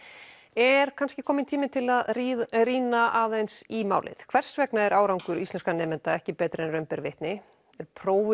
er kannski kominn tími til að rýna rýna aðeins í málið hvers vegna er árangur íslenskra nemenda ekki betri en raun ber vitni er prófið